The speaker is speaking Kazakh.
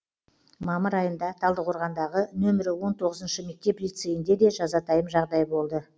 мамыр айында талдықорғандағы нөмірі он тоғызыншы мектеп лицейінде де жазатайым жағдай болды